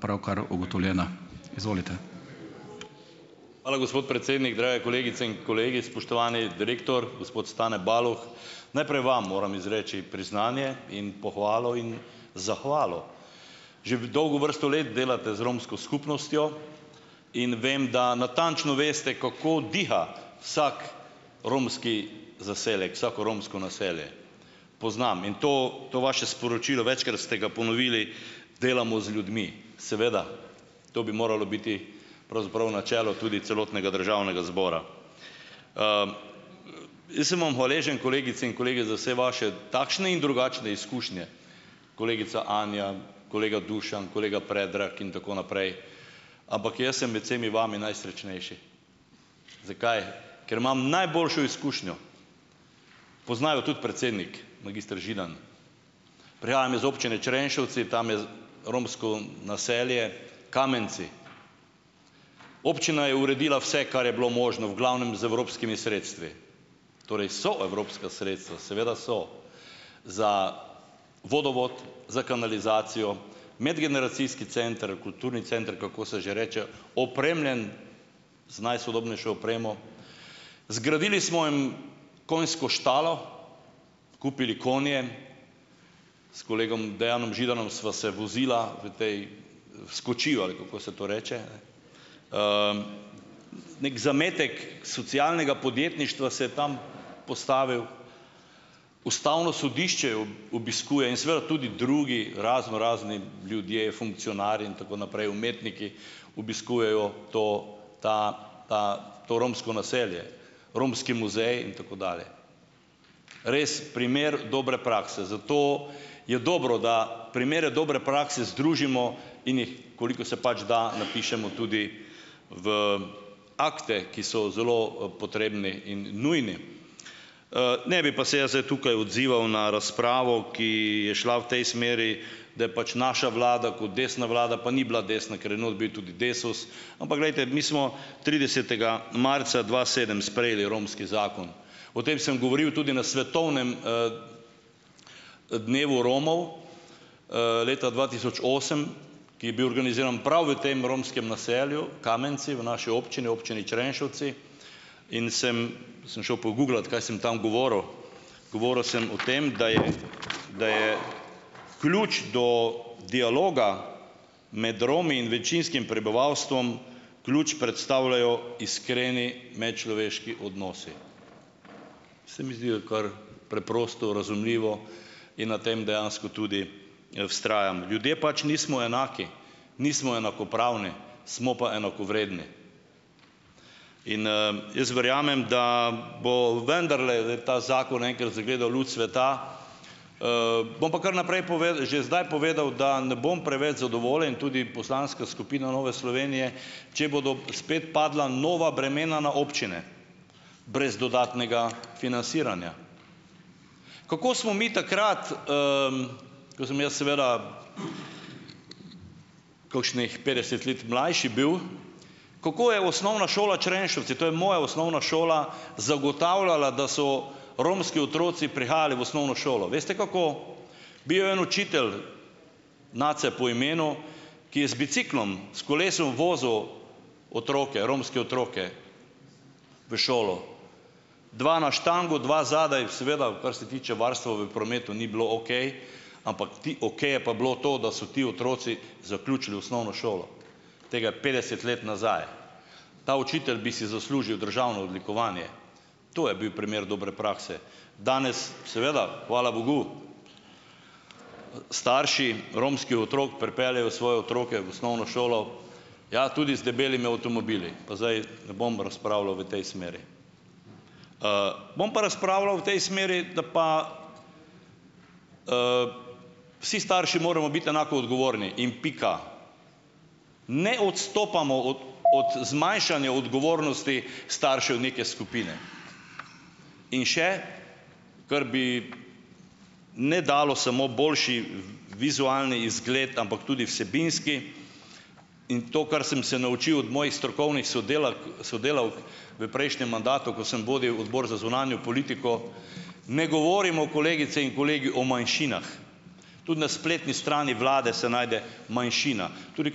Hvala, gospod predsednik. Drage kolegice in kolegi. Spoštovani direktor, gospod Stane Baloh, najprej vam moram izreči priznanje in pohvalo in zahvalo. Že v dolgo vrsto let delate z romsko skupnostjo in vem, da natančno veste, kako diha vsak romski zaselek, vsako romsko naselje, poznam. In to to vaše sporočilo, večkrat ste ga ponovili, delamo z ljudmi. Seveda, to bi moralo biti pravzaprav načelo tudi celotnega državnega zbora. Jaz sem vam hvaležen, kolegice in kolegi, za vse vaše, takšne in drugačne izkušnje, kolegica Anja, kolega Dušan, kolega Predrag in tako naprej, ampak jaz sem med vsemi vami najsrečnejši. Zakaj? Ker imam najboljšo izkušnjo. Pozna jo tudi predsednik magister Židan. Prihajam iz Občine Črenšovci. Tam je romsko naselje Kamenci. Občina je uredila vse, kar je bilo možno, v glavnem z evropskimi sredstvi. Torej so evropska sredstva, seveda so, za vodovod, za kanalizacijo, medgeneracijski center, kulturni center, kako se že reče, opremljen z najsodobnejšo opremo, zgradili smo jim konjsko štalo, kupili konje, s kolegom Dejanom Židanom sva se vozila v tej, s kočiva, ali kako se to reče. Neki zametek socialnega podjetništva se tam postavil. Ustavno sodišče o obiskuje in seveda tudi drugi raznorazni ljudje, funkcionarji in tako naprej, umetniki obiskujejo to, ta, ta, to romsko naselje, romski muzej in tako dalje. Res primer dobre prakse, zato je dobro, da primere dobre prakse razložimo in jih, koliko se pač da, napišemo tudi v, akte, ki so zelo, potrebni in nujni. Ne bi pa se jaz zdaj tukaj odzival na razpravo, ki je šla v tej smeri, da je pač naša vlada kot desna vlada, pa ni bila desna, ker je not bil tudi Desus, ampak glejte, mi smo tridesetega marca dva sedem sprejeli romski zakon. O tem sem govoril tudi na svetovnem, dnevu Romov, leta dva tisoč osem, ki je bil organiziran prav v tem romskem naselju Kamenci v naši občini, Občini Črenšovci, in sem sem šel poguglat, kaj sem tam govoril. Govoril sem o tem, da je, da je ključ do dialoga med Romi in večinskim prebivalstvom, ključ predstavljajo iskreni medčloveški odnosi. Se mi zdi, da kar preprosto razumljivo in na tem dejansko tudi, vztrajam. Ljudje pač nismo enaki, nismo enakopravni, smo pa enakovredni. In, jaz verjamem, da bo vendarle, ta zakon enkrat zagledal luč sveta. Bom pa kar naprej že zdaj povedal, da ne bom preveč zadovoljen, tudi poslanska skupina Nove Slovenije, če bodo spet padla nova bremena na občine brez dodatnega financiranja. Kako smo mi takrat, ko sem jaz seveda kakšnih petdeset let mlajši bil, kako je Osnovna šola Črenšovci, to je moja osnovna šola, zagotavljala, da so romski otroci prihajali v osnovno šolo. Veste, kako? Bil je en učitelj, Nace po imenu, ki je z biciklom, s kolesom vozil otroke, romske otroke v šolo, dva na štango, dva zadaj. Seveda, kar se tiče varstva v prometu, ni bilo okej, ampak ti, okej je pa bilo to, da so ti otroci zaključili osnovno šolo. Tega je petdeset let nazaj. Ta učitelj bi si zaslužil državno odlikovanje. To je bil primer dobre prakse. Danes seveda, hvala bogu, starši romskih otrok pripeljejo svoje otroke v osnovno šolo, ja, tudi z debelimi avtomobili. Pa zdaj ne bom razpravljal v tej smeri. Bom pa razpravljal v tej smeri, da pa, vsi starši moramo biti enako odgovorni. In pika. Ne odstopamo od od zmanjšanja odgovornosti staršev neke skupine. In še - kar bi ne dalo samo boljši vizualni izgled, ampak tudi vsebinski - in to, kar sem se naučil od mojih strokovnih sodelak, sodelavk v prejšnjem mandatu, ko sem vodil odbor za zunanjo politiko - ne govorimo, kolegice in kolegi, o manjšinah. Tudi na spletni strani vlade se najde manjšina. Tudi v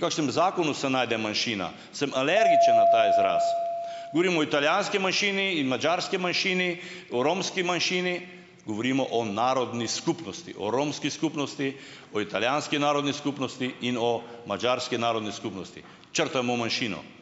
kakšnem zakonu se najde manjšina. Sem alergičen na ta izraz. Govorim o italijanski manjšini in madžarski manjšini, o romski manjšini - govorimo o narodni skupnosti. O romski skupnosti, o italijanski narodni skupnosti in o madžarski narodni skupnosti. Črtajmo manjšino. Bo boljše, boste videli.